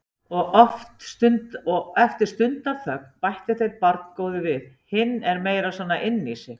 Og eftir stundarþögn bættu þeir barngóðu við: Hinn er meira svona inní sig.